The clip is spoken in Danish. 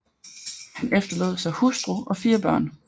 Han efterlod sig hustru og 4 børn